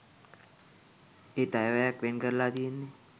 ඒත් අයවැයක් වෙන් කරලා තියෙන්නේ